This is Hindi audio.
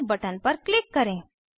सेव बटन पर क्लिक करें